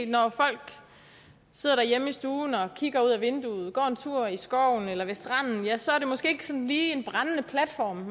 når folk sidder derhjemme i stuen og kigger ud ad vinduet går en tur i skoven eller ved stranden ja så er det måske ikke sådan lige en brændende platform